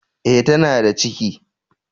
Eh tana da ciki.